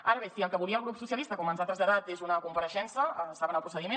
ara bé si el que volia el grup socialistes com ens ha traslladat és una comparei·xença en saben el procediment